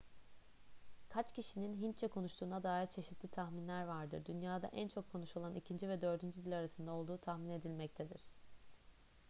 kaç kişinin hintçe konuştuğuna dair çeşitli tahminler vardır dünyada en çok konuşulan ikinci ve dördüncü dil arasında olduğu tahmin edilmektedir